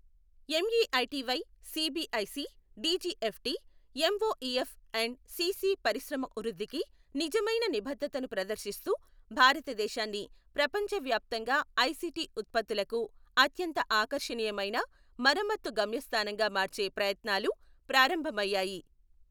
MeitY, CBIC, DGFT, MoEF and CC పరిశ్రమ వృద్ధికి నిజమైన నిబద్ధతను ప్రదర్శిస్తూ, భారతదేశాన్ని ప్రపంచవ్యాప్తంగా ఐసీటీ ఉత్పత్తులకు అత్యంత ఆకర్షణీయమైన మరమ్మత్తు గమ్యస్థానంగా మార్చే ప్రయత్నాలు ప్రారంభమయ్యాయి.